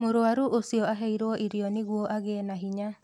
Mũrwaru ũcio aheirwo irio nĩguo agĩe na hinya